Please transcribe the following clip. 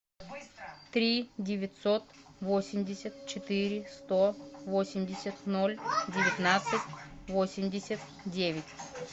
три девятьсот восемьдесят четыре сто восемьдесят ноль девятнадцать восемьдесят девять